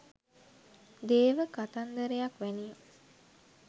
දේව කතන්දරයක් වැනිය